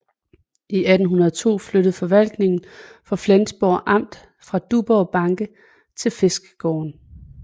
I 1802 flyttede forvaltningen for Flensborg amt fra Duborg banke til Fiskergaarden